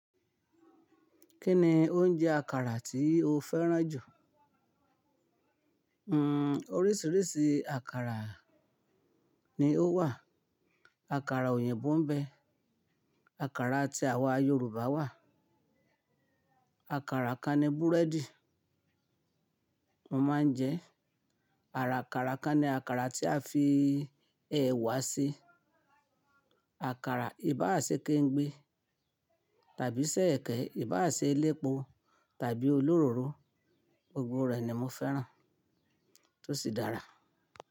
Kí ni oúnjẹ àkàrà tí o fẹ́ràn jù? Hmm oríṣiríṣi àkàrà ni ó wà. Àkàrà òyìnbó ń bẹ, àkàrà tí àwa Yorùbá wà, àkàrà kan ni búrẹ́dì mo máa ń jẹ, àkàrà kan ni àkàrà tí a fi ẹ̀wà ṣe, àkàrà ibà àṣẹ ké ń gbé tàbí sẹ́ẹ̀kẹ́ ibà àṣẹ elépo tàbí olóróró, gbogbo rẹ̀ ni mo fẹ́ràn tó sì dára.